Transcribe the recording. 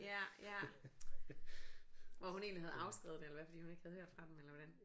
Ja ja og hun egentlig havde afskrevet det eller hvad fordi hun ikke havde hørt fra dem eller hvordan